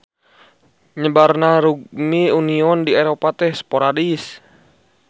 Nyebarna rugbi union di Eropa teh sporadis.